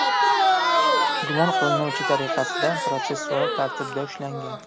gumon qilinuvchi tariqasida protsessual tartibda ushlangan.